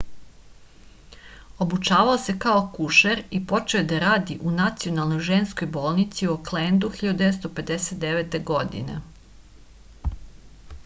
obučavao se kao akušer i počeo je da radi u nacionalnoj ženskoj bolnici u oklendu 1959. godine